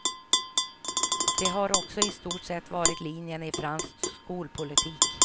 Det har också i stort sett varit linjen i fransk skolpolitik.